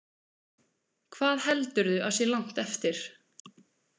Hvað heldurðu að sé langt eftir?